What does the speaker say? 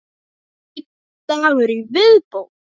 Einn dagur í viðbót!